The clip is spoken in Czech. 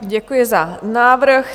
Děkuji za návrh.